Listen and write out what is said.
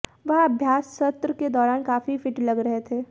वह अभ्यास सत्र के दौरान काफी फिट लग रहे थे